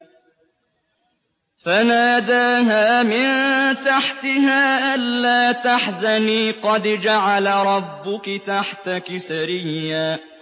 فَنَادَاهَا مِن تَحْتِهَا أَلَّا تَحْزَنِي قَدْ جَعَلَ رَبُّكِ تَحْتَكِ سَرِيًّا